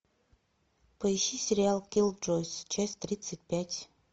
поищи сериал киллджойс часть тридцать пять